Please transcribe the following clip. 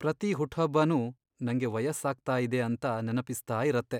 ಪ್ರತಿ ಹುಟ್ಟ್ಹಬ್ಬನೂ ನಂಗೆ ವಯಸ್ಸಾಗ್ತಾ ಇದೆ ಅಂತ ನೆನಪಿಸ್ತಾ ಇರತ್ತೆ.